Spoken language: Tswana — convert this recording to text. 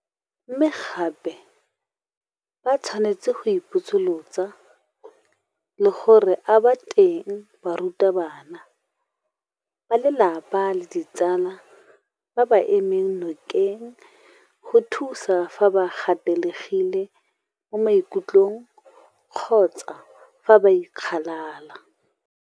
Mme gape ba tshwanetse go ipotsolotsa le gore a ba teng barutabana, balelapa le ditsala ba ba ba emeng nokeng go ba thusa fa ba gatelegile mo maikutlong kgotsa fa ba ikgalala?